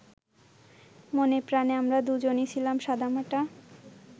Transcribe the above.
মনেপ্রাণে আমরা দুজনই ছিলাম সাদামাটা